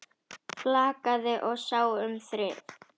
Flakaði og sá um þrif.